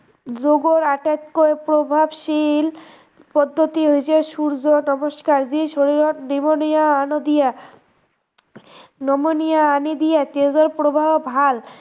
যোগৰ আটাইতকৈ প্ৰভাৱশীল পদ্ধতি হৈছে সূৰ্য নমস্কাৰ যি শৰীৰত নিয়মীয়া আনি দিয়ে, নিয়মীয়া আনি দিয়ে, তেজৰ প্ৰভাৱ ভাল